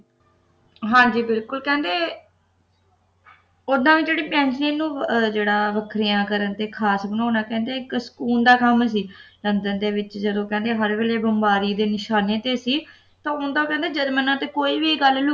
ਹਾਂ ਜੀ ਬਿਲਕੁਲ ਕਹਿੰਦੇ ਉੱਡਣ ਵੀ ਪੇਂਸਿਲੀਨ ਨੂੰ ਜਿਹੜਾ ਵੱਖਰੀਆਂ ਕਰਨਾ ਤੇ ਖਾਸ ਬਣਾਉਣਾ ਕਹਿੰਦੇ ਇੱਕ ਸਕੂਨ ਦਾ ਕੰਮ ਸੀ ਲੰਡਨ ਦੇ ਵਿੱਚ ਕਹਿੰਦੇ ਜਦੋਂ ਹਰ ਵੇਲੇ ਬੰਬਾਰੀ ਦੇ ਨਿਸ਼ਾਨੇ ਤੇ ਸੀ ਤਾਂ ਊਂ ਤਾਂ ਕਹਿੰਦੇ ਜਰਮਨਾਂ ਤੇ ਕੋਈ ਵੀ ਗੱਲ ਲੁ